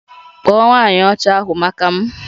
Kpọọ nwanyị Ọcha ahụ maka m!